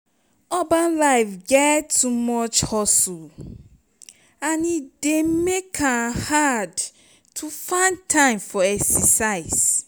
urban life get too much hustle and e dey make am hard to find time for exercise.